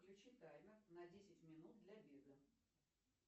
включи таймер на десять минут для бега